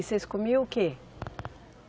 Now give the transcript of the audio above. E vocês comiam o quê?